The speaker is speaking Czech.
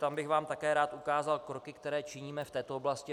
Tam bych vám také rád ukázal kroky, které činíme v této oblasti.